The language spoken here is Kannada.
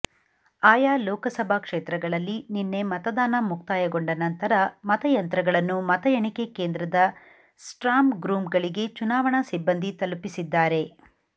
ಆಯಾ ಲೋಕಸಭಾ ಕ್ಷೇತ್ರಗಳಲ್ಲಿ ನಿನ್ನೆ ಮತದಾನ ಮುಕ್ತಾಯಗೊಂಡ ನಂತರ ಮತಯಂತ್ರಗಳನ್ನು ಮತ ಎಣಿಕೆ ಕೇಂದ್ರದ ಸ್ಟ್ರಾಂಗ್ರೂಂಗಳಿಗೆ ಚುನಾವಣಾ ಸಿಬ್ಬಂದಿ ತಲುಪಿಸಿದ್ದಾರೆ